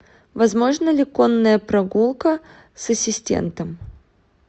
возможна ли конная прогулка с ассистентом